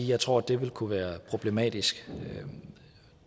jeg tror det vil kunne være problematisk